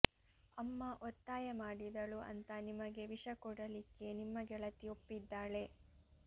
ಅಮ್ಮ ಒತ್ತಾಯ ಮಾಡಿದಳು ಅಂತ ನಿಮಗೆ ವಿಷ ಕೊಡಲಿಕ್ಕೆ ನಿಮ್ಮ ಗೆಳತಿ ಒಪ್ಪಿದ್ದಾಳೆ